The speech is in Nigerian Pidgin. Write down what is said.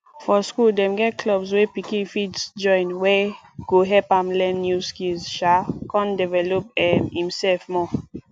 for school dem get clubs wey pikin fit join wey go help am learn new skills um come develop um imself more